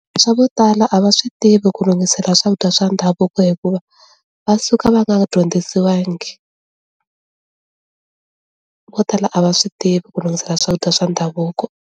Swa ku tala a va swi tivi ku lunghisela swakudya swa ndhavuko hikuva va suka va nga dyondzisiwangi vo tala a va swi tivi ku lunghisela swakudya swa ndhavuko.